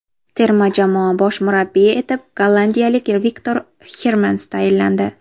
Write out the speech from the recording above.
Terma jamoa bosh murabbiyi etib gollandiyalik Viktor Hermans tayinlandi.